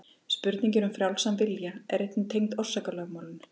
Spurningin um frjálsan vilja er einnig tengd orsakalögmálinu.